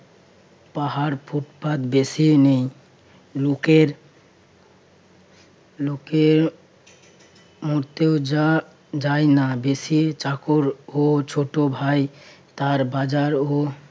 পাহাড় ফুটপাত বেশি নেই। লোকের লোকের মরতেও যা~ যায় না। বেশি চাকর ও ছোট ভাই তার বাজারও